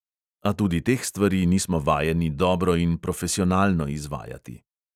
A tudi teh stvari nismo vajeni dobro in profesionalno izvajati.